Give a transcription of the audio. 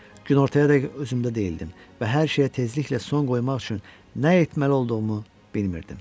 Günortaya dək özümdə deyildim və hər şeyə tezliklə son qoymaq üçün nə etməli olduğumu bilmirdim.